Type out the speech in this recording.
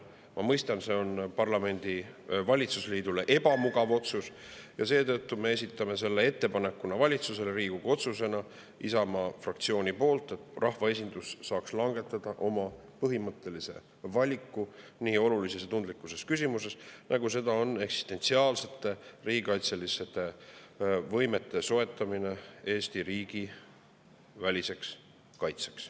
Ma mõistan, et see oleks valitsusliidule ebamugav Riigikogu otsus, ja seetõttu me esitame selle Isamaa fraktsiooni poolt, et rahvaesindus saaks langetada oma põhimõttelise valiku nii olulises ja tundlikus küsimuses, nagu seda on eksistentsiaalsete riigikaitseliste võimete soetamine Eesti riigi väliseks kaitseks.